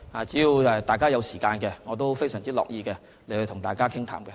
只要大家有時間，我也非常樂意與大家傾談。